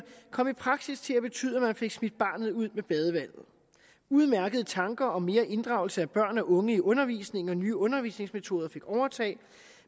kom i praksis til at betyde at man fik smidt barnet ud med badevandet udmærkede tanker om mere inddragelse af børn og unge i undervisningen og nye undervisningsmetoder fik overtaget